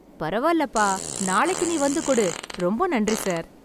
பரவால்லப்பா நாளைக்கு நீ வந்து கொடு ரொம்ப நன்றி சார்